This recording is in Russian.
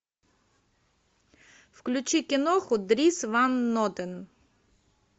включи киноху дрис ван нотен